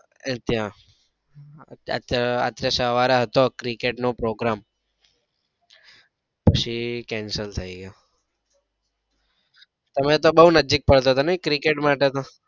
ત્યાં અત્યારે સવારે હતો ત્યાં cricket નો programme પછી cancel થઇ ગયો તમે તો બૌ નજીક પડે તો નઈ cricket માટે તો